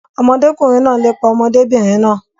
Ọmọdékùnrin náà n lépa ọmọdébìnrin náà.